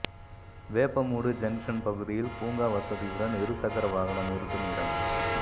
Veppamoodu junction பகுதியில் பூங்கா வசதியுடன் இருசக்கர வாகனம் நிறுத்தும் இடம்